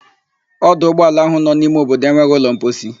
Ọdụ ụgbọala ahụ nọ n'ime obodo enweghị ụlọ mposi.